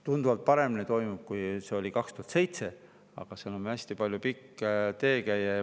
Tunduvalt paremini toimib, kui see oli 2007. aastal, aga seal on veel hästi pikk tee käia.